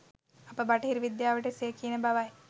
අප බටහිර විද්‍යාවට එසේ කියන බවයි